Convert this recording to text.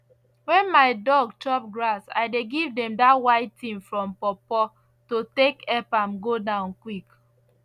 wen my dog chop grass i dey give them dat white tin from pawpaw to take ep am go down quick